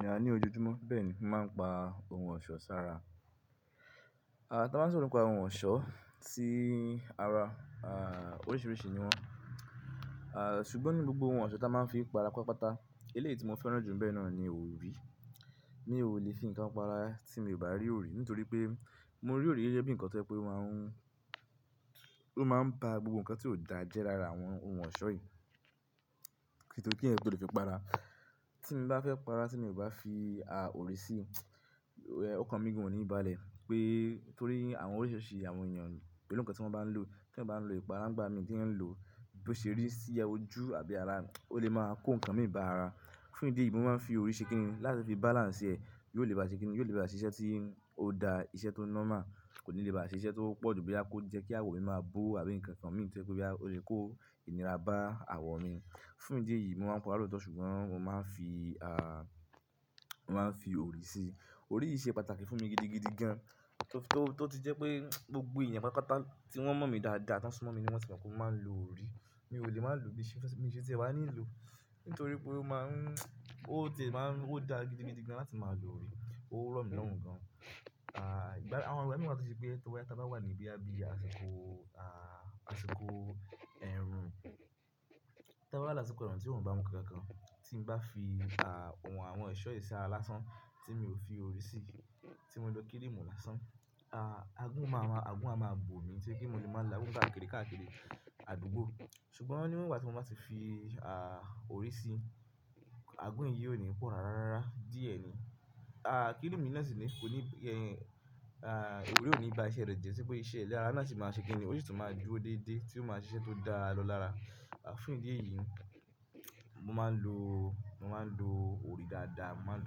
Ní àní ojojúmọ́ bẹ́ẹ̀ ni màá ń pa oun ọ̀ṣọ́ sára. Ah, tí a bá sọ̀rọ̀ nípa oun ọ̀ṣọ́ si ara, ah, oríṣiríṣi ni wọ́n. Ah, ṣùgbọ́n ní gbogbo oun ọ̀ṣọ́ tí a máa ń fi para pápátá, eléyìí tí mo fẹ́ràn jù níbẹ̀ náà ni òrì. Mi ò lè fi ǹkan pa ara tí mi ò bá rí òrì nítorí pé mo rí òrì gẹ́gẹ́ bí ǹkan tó jẹ́ pé o máa ń, ló máa ń ba gbogbo ǹkan tí ó dà jẹ lára àwọn oun ọ̀ṣọ́ yìí. Kítorí kí eẹ̀yan tó lè fi para. Tí mo bá fẹ́ pa ara tí mi ò bá fi ah, òrì sí, ókan mi gan ò ní bàlẹ̀ pé torí àwọn oríṣiríṣi àwọn èeyàn, pẹ̀lú ǹkan tí wọ́n bá ń lò tí eeyan bá ń lò ipara ńigbá mi ti eeyan ń lò, bí ó ṣe rí sí ẹ ojú àbí ara, ó lè máa kó ǹkan mi bá ara. Fún ìdí èyí, mo máa ń fi orí ṣe kìni láti fi balance ẹ, yóò lè báa ṣe kìni, yóò lè báa ṣiṣẹ́ tí ó daa, iṣẹ́ tó normal. Kò ní lè bá ṣiṣẹ́ tó pọ̀jù boya kó jẹ́ kí àwọ̀ mi máa bo àbí ǹkan kan mi to jẹ boya, ó lè kó ìnira bá àwọ̀ mi. Fún ìdí èyí, mo máa ń pa ara lóòótọ́ ṣùgbọ́n mo máa ń fi ah, mo máa ń fi òrì sí. Òrì yìí ṣe pàtàkì fún mi gidigidi gan, tó ti jẹ́ pé gbogbo èèyàn pátápátá ti wọ́n mọ̀ mí dáadáa tí wọ́n súnmọ́ mi ni wọ́n tì mọ̀ pé mo máa ń lo òrì. Mi ò lè máa lo bí iṣẹ́, mi ò ṣe tí ẹ wá ní lò nítorí pé ó máa ń, ó tiè máa ń, ó dà gidigidi gan láti máa lo òrì. Ó rọ̀ mí lọ́rùn gan. Ah, ìgbà àwọn ìgbà mìí wa tó ṣe pé tó ba ya ta bá wá ní boya, bíi àsìkò ah, àsìkò ẹ̀rùn. Tí a bá wa lásìkò ẹ̀rùn tí oorun bá mú kankankan, tí n bá fi ah, oun àwọn ẹ̀ṣọ́ yìí sára lásán tí mi ò fi òrì sí, tí mo lo kirimù lásán, ah, àgún máa, àgún a máa bò mí torí pe mo lè máa la àgún káàkiri káàkiri àdúgbò. Ṣùgbọ́n níwon ìgbà tí mo bá ti fi ah, òrì sí, àgún yìí ò ní pọ̀ rárá rara díẹ̀ ni. Ah, kírimu náà sì ni kó ní, ah, òrì ò ní bá iṣẹ́ rẹ̀ jẹ ṣi pé iṣẹ́ ile ara náà sì máa ṣe kìni, ó sì tún máa dúró déédéé tí ó máa ṣe iṣẹ́ tó dára lọ lára. Ah, fún ìdí èyí, mo máa ń lo, mo máa ń lo òrì dáadáa, mo máa ń lo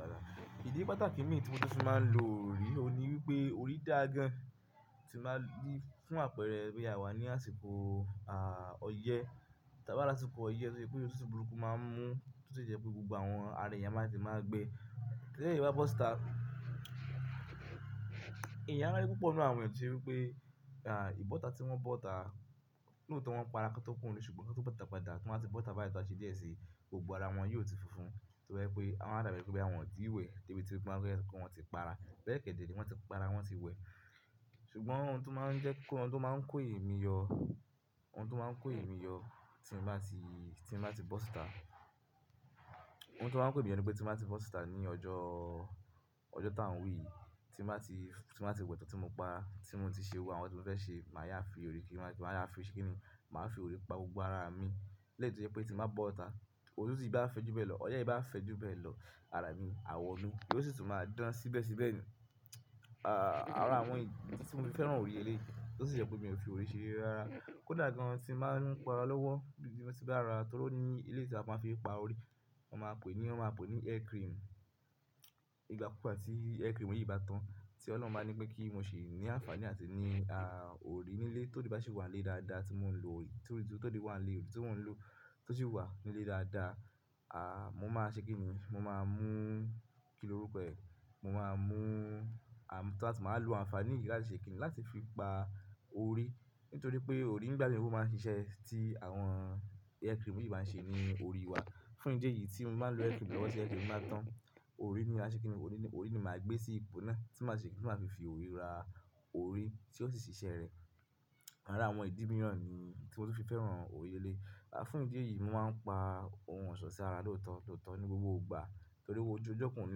dáadáa. Ìdí pàtàkì mí tí mo tun fi máa ń lo òrì, òun ní wípé òrì dàa gan. Tí mo bá jí fún àpẹẹrẹ boya a wà ní àsìkò ah, ọyẹ́. Ta bá wa làsìkò ọyẹ́, tó ṣe pé òtútù burúkú máa ń mú, tó sì jẹ́ pé gbogbo àwọn ara èèyàn máa tètè máa gbé. Tí èèyàn bá bọ́ síta, èèyàn a wa ri púpọ̀ nínú àwọn èèyàn àti wípé ah, ìbọ́ta tí wọ́n bọ́ta looọ̀tọ̀ wọ́n pa ara kí wọ́n to kúrò níle ṣùgbọ́n ki won to bọ́ta padà, ti wọ́n ba ti bọ́ta báyìí ton ṣe díẹ̀ sí, gbogbo ara wọn yóò ti funfun. Toba je wípé ama dàbí boya wonti we debi ti wan fe wonti pa ara. Be kede ree wọ́n ti pa ara, wọ́n ti wẹ. Ṣùgbọ́n ohun tí ó máa ń jẹ́ kó, ohun tí ó máa ń kó èmi yọ, ohun tí ó máa ń kó èmi yọ tí mo bá ti, tí mo bá ti bọ́ síta. Ohun tí ó máa ń kó èmi yọ ní pé tí mo bá ti bọ́ta ní ọjọ́, ọjọ́ tá ń wi yìí, tí mo bá ti, tí mo bá ti we tan tí mo para, tí mo ti ṣe gbogbo àwọn tí mo fẹ́ ṣe, màá yá fi òrì kí n má, màá yá fi iṣẹ́ kí ni, màá fi òrì pa gbogbo ara mi. Lẹ́yì to je pé tí mo bá bọ́ta, òtútù e bá fẹ́ ju bẹ́ẹ̀ lọ, ọyẹ́ e bá fẹ́ ju bẹ́ẹ̀ lọ, ara mi, àwọ̀ mi, yó sì tún máa dán síbẹ̀ síbẹ̀ ni. Àrà àwọn idi tí mo fi fẹ́ràn òrì leléyìí, ti ó sì jẹ́ pé mi ò fi òrì ṣe reré ara. Ko dà gan tí mo máa ń pa ara lọ́wọ́ bí mo ti bá ra, torí ó ní eléyìí tí a máa ń fi pa òrì, wọ́n máa ń pe ní, wọ́n máa ń pe ní hair cream. Ìgbà púpọ̀ tí hair cream yìí bá tán, tí Ọlọ́run máa ń ní pé kí n mo ṣe ní àǹfààní àti ní, òrì nílé ti orí bá sì wà nílé dáadáa tí mò ń lo òrì, tí óri wà nílé òrì tí mò ń lò tó sì wà nílé dáadáa. Mo máa ṣe kínní, mo máa mú kí ló rú re, mo máa mú, màá lo àǹfààní yìí láti ṣe kínní láti fi pa òrì. Nítorí pé òrì ńi gbà mi o máa ń ṣe iṣẹ́ tí àwọn hair cream yìí máa ń ṣe ní orí wa. Fún ìdí èyí tí mo máa ń lo hair cream lọ́wọ́ tí hair cream bá tán, òrì ni màá ṣe kínní, òrì ni, òrì ni màá gbé sí ipò náà tí màá ṣe kínní, tí màá fi fi òrì ra òrì tí ó sì ṣe iṣẹ́ rẹ̀. Àrà àwọn ìdí mìíràn ni tí mo tó fi fẹ́ràn òrì leléyìí, fún ìdí èyí, mo máa ń pa ohun ọ̀ṣọ́ sí ara lóòótọ́ lóòótọ́ ní gbogbo ìgbà. Torí owo ojú ọjọ́ kan ò ní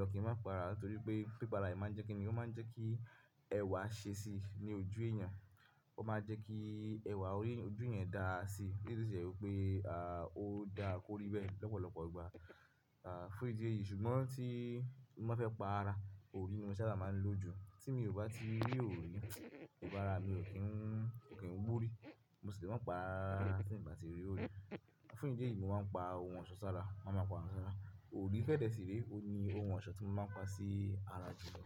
lọ kí ń má pa ara torí pé pípa ara yìí máa ń jẹ́ kínní, ó máa ń jẹ́ kí ẹwà ṣe sí ní ojú èèyàn. Ó máa ń jẹ́ kí ẹwà orí yan ojú yẹn dà si. Èyí sì jẹ́ wípé, ó dà kó rí bẹ́ẹ̀ lọ́pọ̀lọ́pọ̀ ìgbà. Fún ìdí èyí ṣùgbọ́n tí mo bá fẹ́ pa ara, òrì ni mo sábà máa ń lò jù. Tí mi ò bá ti rí òrì, gbogbo ara mi ò kí ń, ò kí ń gbórí. Mo sì lè má pa ara rara tí ìn bá ti rí òrì. Fún ìdí èyí, mo máa ń pa ohun ọ̀ṣọ́ sára, màá máa pa ohun ọ̀ṣọ́ sára. Òrì fẹ́ dẹ síre, óun ní ohun ọ̀ṣọ́ tí mo máa ń pa sí ara jù lọ.